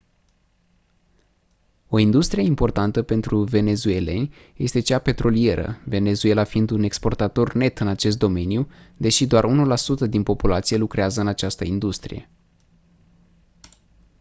o industrie importantă pentru venezuelani este cea petrolieră venezuela fiind un exportator net în acest domeniu deși doar 1% din populație lucrează în această industrie